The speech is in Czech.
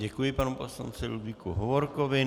Děkuji panu poslanci Ludvíku Hovorkovi.